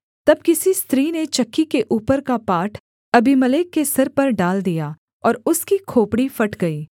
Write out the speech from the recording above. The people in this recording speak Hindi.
तब किसी स्त्री ने चक्की के ऊपर का पाट अबीमेलेक के सिर पर डाल दिया और उसकी खोपड़ी फट गई